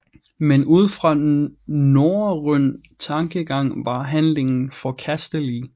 Men ud fra norrøn tankegang var handlingen forkastelig